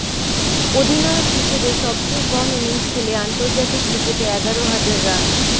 অধিনায়ক হিসেবে সবচেয়ে কম ইনিংস খেলে আন্তর্জাতিক ক্রিকেটে এগারো হাজার রান